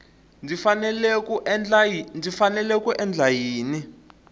ndzi fanele ku endla yini